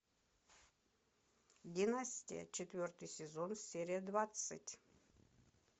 династия четвертый сезон серия двадцать